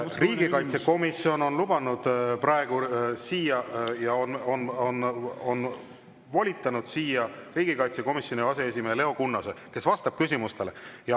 Riigikaitsekomisjon on lubanud praegu siia ja on volitanud siia riigikaitsekomisjoni aseesimehe Leo Kunnase, kes vastab küsimustele.